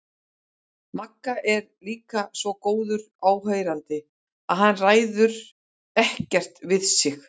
Magga er líka svo góður áheyrandi að hann ræður ekkert við sig.